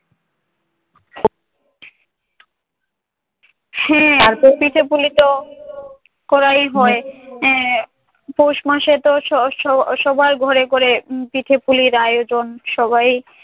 হম আরতো পিঠে-পুলিতো করাই হয়। আহ পৌষ মাসেতো স স স সবার ঘরে ঘরে পিঠে-পুলির আয়োজন। সবাই